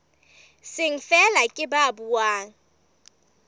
seng feela ke ba buang